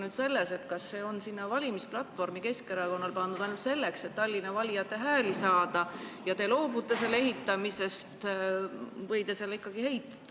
Kas see on Keskerakonna valimisplatvormi pandud ainult selleks, et Tallinna valijate hääli saada, ja te loobute selle ehitamisest või te selle ikkagi ehitate?